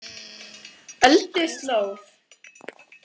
Ölduslóð